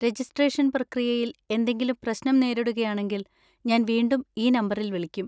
Registration പ്രക്രിയയിൽ എന്തെങ്കിലും പ്രശ്നം നേരിടുകയാണെങ്കിൽ, ഞാൻ വീണ്ടും ഈ നമ്പറിൽ വിളിക്കും.